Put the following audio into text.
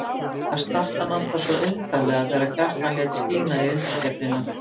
Það snart hann alltaf svo undarlega þegar Kjartan lét skína í undirgefnina.